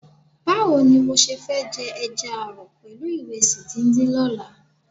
Báwo ni mo ṣe fẹ́ jẹ ẹja ààrọ̀ pẹ̀lú ìrẹsì díndín lọ́la?